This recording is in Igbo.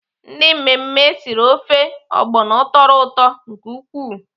Ndị mmemme siri ofe ogbono tọrọ ụtọ nke ukwuu.